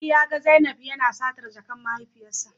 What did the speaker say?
Ali Saw zainab yana satar jakar mahaifiyarsa